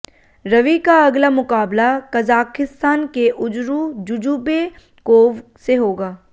रवि का अगला मुकाबला कजाखिस्तान के उजूर जूजूबेकोव से होगा